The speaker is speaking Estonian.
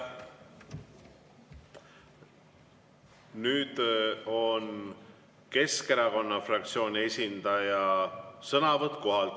Nüüd on Keskerakonna fraktsiooni esindaja sõnavõtt kohalt.